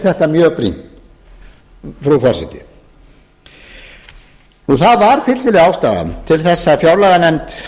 þetta mjög brýnt frú forseti það var fyllilega ástæða til að fjárlaganefnd